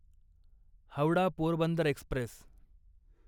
Howrah Porbandar Express